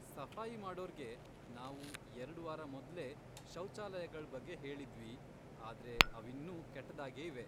ಸಫಾಯಿ ಮಾಡೋರ್ಗೆ ನಾವು ಎರ್ಡ್ ವಾರ ಮೊದ್ಲೇ ಶೌಚಾಲಯಗಳ್ ಬಗ್ಗೆ ಹೇಳಿದ್ವಿ ಆದ್ರೆ ಅವಿನ್ನೂ ಕೆಟ್ಟದಾಗೇ ಇವೆ.